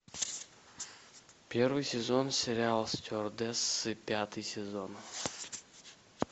первый сезон сериала стюардессы пятый сезон